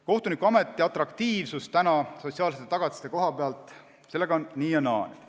Kohtunikuameti atraktiivsus sotsiaalsete tagatiste koha pealt – sellega on nii ja naa.